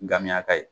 Gamiyaka ye